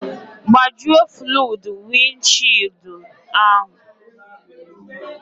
Gbajuo fluudu wịndshịịụldụ ahụ